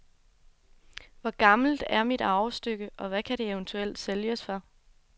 Hvor gammelt er mit arvestykke, og hvad kan det eventuelt sælges for?